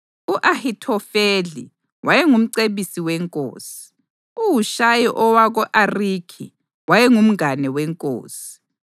U-Ahithofeli wayengumcebisi wenkosi. UHushayi owako-Arikhi wayengumngane wenkosi.